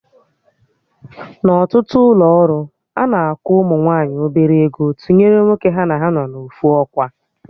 Na ọtụtụ ụlọ ọrụ, ana akwụ ụmụ nwaanyị obere ego tụnyere nwoke ha na ha nọ na ofu ọkwa